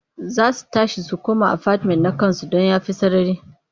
Za su tashi su koma afatimen na ƙasansu don ya fi sarari.